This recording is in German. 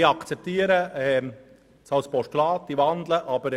Ich akzeptiere die Wandlung in ein Postulat.